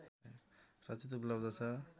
रचित उपलब्ध छ